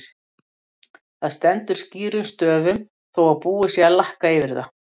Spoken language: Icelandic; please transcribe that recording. Það stendur skýrum stöfum þó að búið sé að lakka yfir það!